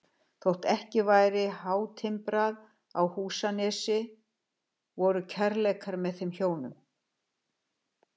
Þótt ekki væri hátimbrað í Húsanesi voru kærleikar með þeim hjónum